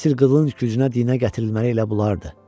Əsl qılınc gücünə dinə gətirilməli elə bunlardır.